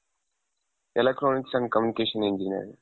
electronics and communication engineering.